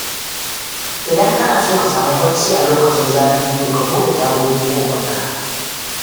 Idan kana so ka samu bacci a lokacin zafi, to ka buɗe tagogin ɗakinka.